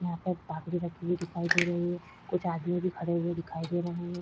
यहाँ पर तपड़ी रखी हुई दिखाई दे रही है। कुछ आदमी भी खड़े हुए दिखाई दे रहे हैं।